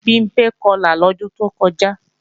Bimpé Kọlà lọ́dún tó kọjá